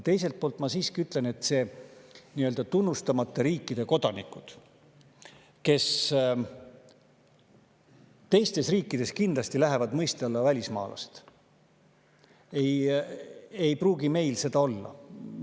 Teiselt poolt ma siiski ütlen, et need nii-öelda tunnustamata riikide kodanikud, kes teistes riikides kindlasti lähevad mõiste "välismaalased" alla, ei pruugi meil seda olla.